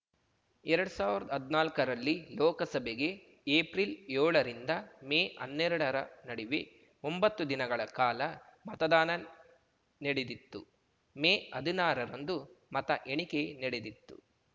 ಎರಡ್ ಸಾವ್ರ್ದ್ ಹದ್ನಾಲ್ಕ ರಲ್ಲಿ ಲೋಕಸಭೆಗೆ ಏಪ್ರಿಲ್ ಯೋಳರಿಂದ ಮೇ ಅನ್ನೆರಡರ ನಡಿವೆ ಒಂಬತ್ತು ದಿನಗಳ ಕಾಲ ಮತದಾನ ನೆಡಿದಿತ್ತು ಮೇ ಹದಿನಾರ ರಂದು ಮತ ಎಣಿಕೆ ನೆಡಿದಿತ್ತು